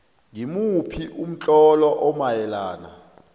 ngimuphi umtlolo omayelana